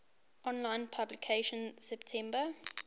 online publication september